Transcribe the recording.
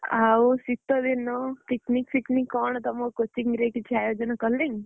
ଆଉ ଶୀତ ଦିନ picnic ଫିକନିକ୍ କଣ ତମ coaching ରେ କଣ କିଛି ଆୟୋଜନ କଲେଣି?